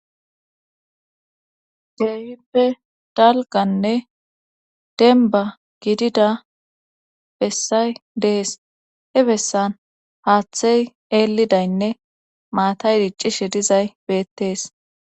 Keeyhippe dalganne denba gidida bessay dees he bessan haaththey eelidaynne maatay diccishe dizay beettees